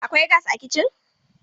Akwai gas a kitcin.